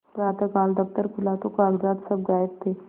प्रातःकाल दफ्तर खुला तो कागजात सब गायब थे